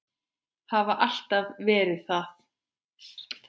Hafa alltaf verið það.